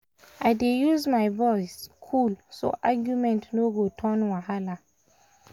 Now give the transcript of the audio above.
i dey use my voice cool so argument no go turn wahala.